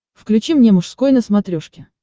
включи мне мужской на смотрешке